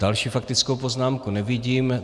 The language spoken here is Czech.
Další faktickou poznámku nevidím.